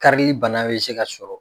Karili bana bɛ se ka sɔrɔ